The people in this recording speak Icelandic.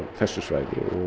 þessu svæði